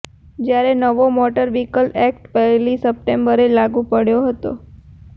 જ્યારે નવો motor vehicle act પહેલી સપ્ટેમ્બરે લાગૂ પડ્યો હતો